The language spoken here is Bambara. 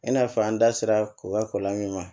I n'a fɔ an da sera ko kɛ ko lamin